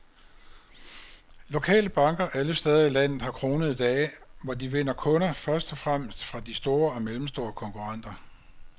Lokale banker alle steder i landet har kronede dage, hvor de vinder kunder først og fremmest fra de store og mellemstore konkurrenter.